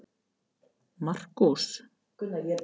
Markús